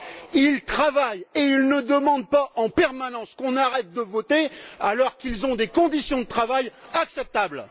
Ils travaillent et ils ne demandent pas en permanence qu'on arrête de voter, alors qu'ils ont des conditions de travail acceptables.